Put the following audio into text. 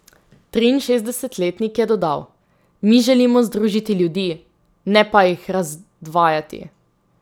Triinšestdesetletnik je še dodal: 'Mi želimo združiti ljudi, ne pa jih razdvajati.